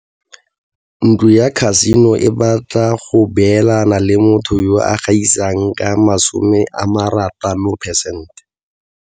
Ntlo ya khasino e batla go beelana le motho yo a gaisang ka 60 percent.